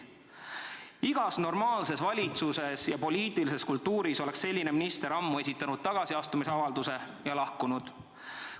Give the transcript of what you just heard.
Igas normaalses valitsuses ja poliitilises kultuuris oleks selline minister ammu esitanud tagasiastumisavalduse ja lahkunud.